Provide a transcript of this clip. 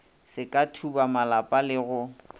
se ka thubamalapa le go